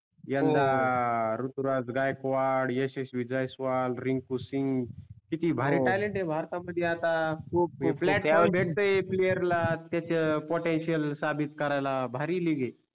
हो यंदा ऋतुराज गायकवाड यशस्वि जयस्वाल रिंकू सिंग किती भारी talent आहे भारता मध्ये आता खूपपखुप platoon भेटे player ला त्यांच potenial साबीत करायला भारी league आहे.